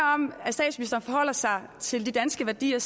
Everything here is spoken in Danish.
når forholder sig til de danske værdier